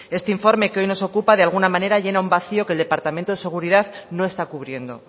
este informe que hoy nos ocupa de alguna manera llena un vacío que el departamento de seguridad no está cubriendo